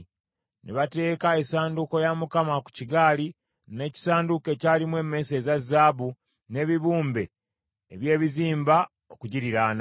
Ne bateeka essanduuko ya Mukama ku kigaali n’ekisanduuko ekyalimu emmese eza zaabu n’ebibumbe eby’ebizimba okugiriraana.